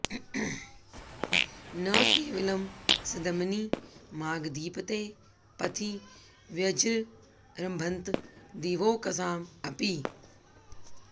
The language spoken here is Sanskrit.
न केवलं सद्मनि मागधीपतेः पथि व्यजृम्भन्त दिवौकसां अपि